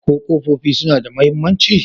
Ko ƙofofin suna da mahimmanci?